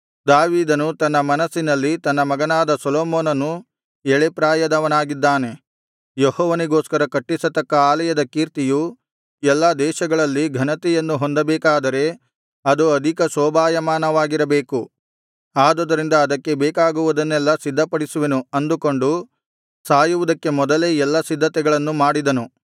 ದಾವೀದನು ತನ್ನ ಮನಸ್ಸಿನಲ್ಲಿ ತನ್ನ ಮಗನಾದ ಸೊಲೊಮೋನನು ಎಳೆ ಪ್ರಾಯದವನಾಗಿದ್ದಾನೆ ಯೆಹೋವನಿಗೋಸ್ಕರ ಕಟ್ಟಿಸತಕ್ಕ ಆಲಯದ ಕೀರ್ತಿಯು ಎಲ್ಲಾ ದೇಶಗಳಲ್ಲಿ ಘನತೆಯನ್ನು ಹೊಂದಬೇಕಾದರೆ ಅದು ಅಧಿಕ ಶೋಭಾಯಮಾನವಾಗಿರಬೇಕು ಆದುದರಿಂದ ಅದಕ್ಕೆ ಬೇಕಾಗುವುದನ್ನೆಲ್ಲಾ ಸಿದ್ಧಪಡಿಸುವೆನು ಅಂದುಕೊಂಡು ಸಾಯುವುದಕ್ಕೆ ಮೊದಲೇ ಎಲ್ಲಾ ಸಿದ್ಧತೆಗಳನ್ನು ಮಾಡಿದನು